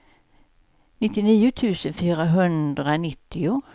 nittionio tusen fyrahundranittio